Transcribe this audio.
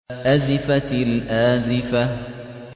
أَزِفَتِ الْآزِفَةُ